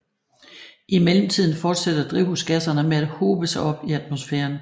I mellemtiden fortsætter drivhusgasserne med at hobe sig op i atmosfæren